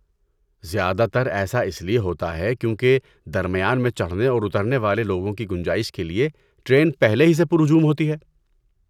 زیادہ تر ایسا اس لیے ہوتا ہے کیونکہ درمیان میں چڑھنے اور اترنے والے لوگوں کی گنجائش کے لیے ٹرین پہلے ہی سے پر ہجوم ہوتی ہے۔